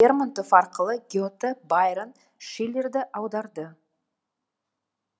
лермонтов арқылы гете байрон шиллерді аударды